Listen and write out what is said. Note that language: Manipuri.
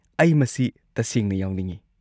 ꯑꯩ ꯃꯁꯤ ꯇꯁꯦꯡꯅ ꯌꯥꯎꯅꯤꯡꯉꯤ꯫